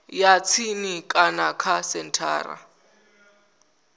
ya tsini kana kha senthara